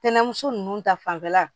Tɛnɛmuso ninnu ta fanfɛla